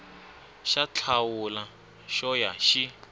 xa thawula xo ya xi